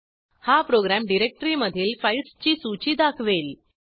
हा प्रोग्रॅम डिरेक्टरीमधील फाईल्सची सूची दाखवेल